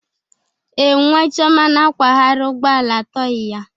Ee, nwa chioma na-akwagharị ụgbọ ala tọị ya.